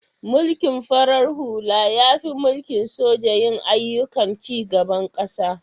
Mulkin farar hula ya fi mulkin soji yin aiyyukan cigaban ƙasa.